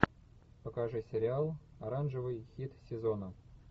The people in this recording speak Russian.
покажи сериал оранжевый хит сезона